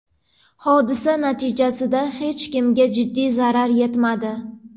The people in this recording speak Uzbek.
Hodisa natijasida hech kimga jiddiy zarar yetmadi.